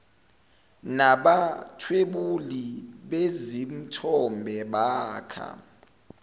nabathwebuli bezithombe bakha